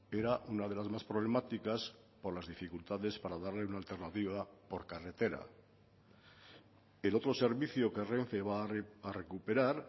era una de las más problemáticas por las dificultades para darle una alternativa por carretera el otro servicio que renfe va a recuperar